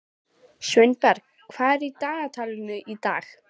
Sveinberg, hvað er í dagatalinu í dag?